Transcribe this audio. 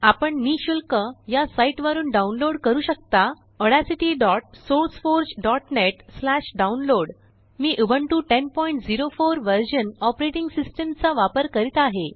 आपण निःशुल्क यासाइट वरूनडाउनलोड करू शकताaudacitysourceforgenetdownload लिंक मी उबंटू 1004 वर्जनऑपरेटिंग सिस्टमचा वापर करीत आहे